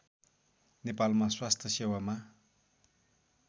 नेपालमा स्वास्थ्य सेवामा